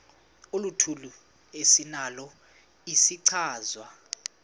oluthile esinalo isichazwa